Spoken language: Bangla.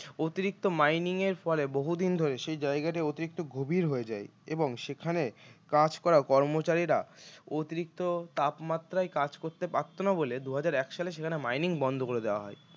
অতিরিক্ত mining এর ফলে বহুদিন ধরে সেই জায়গাটি অতিরিক্ত গভীর হয়ে যায় এবং সেখানে কাজ করা কর্মচারীরা অতিরিক্ত তাপমাত্রায় কাজ করতে পারত না বলে দুহাজার এক সালে সেখানে mining বন্ধ করে দেওয়া হয়